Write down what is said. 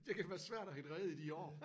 Det kan være svært at hitte rede i de år